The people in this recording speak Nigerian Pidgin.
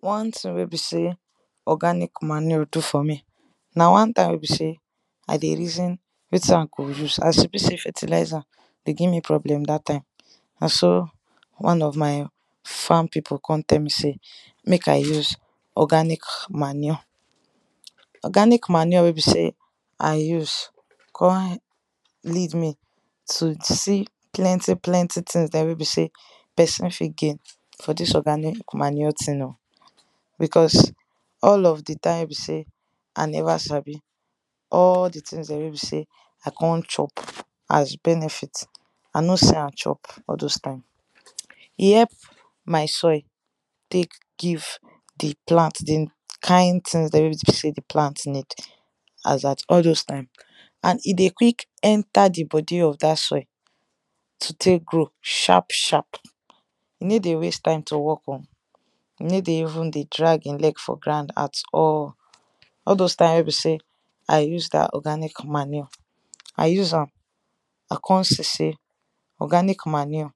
one thing wey be sey organic manure do for me na one time wey be sey i dey reason wetin i go use as e be sey fertilizer dey give me problem dat time na so one of my farm pipu kon tell me mek i use organic manure. organic manure wey be sey I use kon lead me to see plenty plenty things dem wey be sey pesin fit gain for this organic manure thing um. because all of di time wey be sey i neva sabi all of di thing wey be sey i kon chop as benefit i no see am chop all those time. e help my soil tek give di plant di kind things wey be sey di plant need. as at all those time and e dey quick enter di bodi of dat soil and to tek grow sharp sharp. e no dey waste time to work on, e no dey even drag in leg for grand at all. all dos time wey be sey i use da organic manure, i use am i kon see sey organic manure